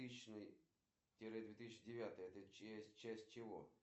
афина какие координаты у гранд маркета россия